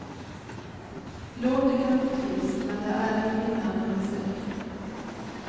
Låter kanske trist, men det är ett vinnande recept.